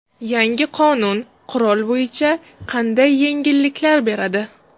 Yangi qonun qurol bo‘yicha qanday yengilliklar beradi?